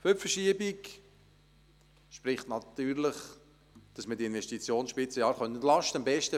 Für die Verschiebung spricht natürlich, dass man die Jahre der Investitionsspitze entlasten könnte.